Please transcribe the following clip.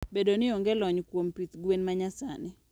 Bedo ni onge lony kuom pith gwen manyasani.